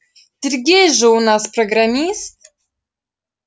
сергей же у нас программист